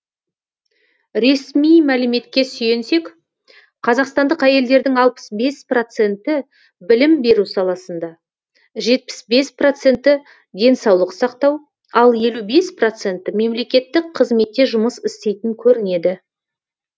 ресми мәліметке сүйенсек қазақстандық әйелдердің алпыс бес проценті білім беру саласында жетпіс бес проценті денсаулық сақтау ал елу бес проценті мемлекеттік қызметте жұмыс істейтін көрінеді